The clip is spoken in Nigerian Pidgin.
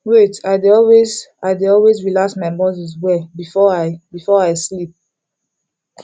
wait i dey always i dey always relax my muscles well before i before i sleep